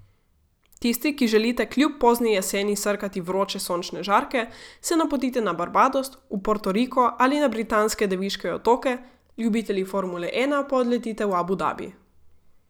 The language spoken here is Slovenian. Tisti, ki želite kljub pozni jeseni srkati vroče sončne žarke, se napotite na Barbados, v Portoriko ali na Britanske Deviške otoke, ljubitelji formule ena pa odletite v Abu Dabi.